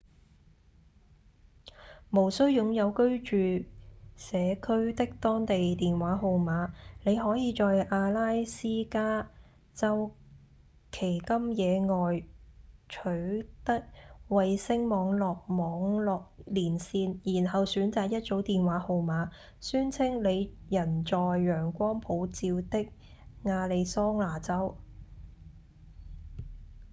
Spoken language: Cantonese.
無需擁有居住社區的當地電話號碼；你可以在阿拉斯加州奇金野外取得衛星網際網路連線然後選擇一組電話號碼宣稱你人在陽光普照的亞利桑那州